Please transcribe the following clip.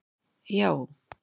já